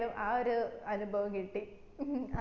ആ ഒരു അനുഭവം കിട്ടി